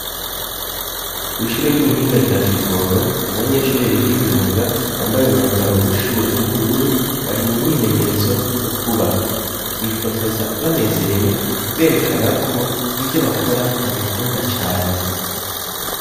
Kwishuri ry'ubuhinga rya Kivoga abanyeshuri biga imyuga bambaye umwambaro wishure w'ubururu bari mu myimenyerezo yo kubaka, bifotoza banezerewe berekana ko ivyo bakora babikunda cane.